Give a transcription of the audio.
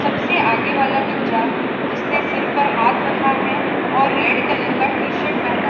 सबसे आगे वाला बच्चा जिसने सिर पर हाथ रखा है और रेड कलर का टी शर्ट पहना --